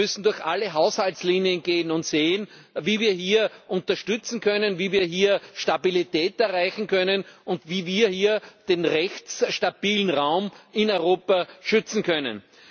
Wir müssen durch alle Haushaltslinien gehen und sehen, wie wir hier unterstützen können, wie wir hier Stabilität erreichen können, und wie wir hier den rechtsstabilen Raum in Europa schützen können.